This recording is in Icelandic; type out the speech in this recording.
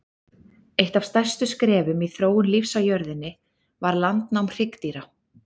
Eitt af stærstu skrefum í þróun lífs á jörðunni var landnám hryggdýra.